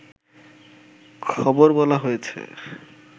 খবর বলা হয়েছে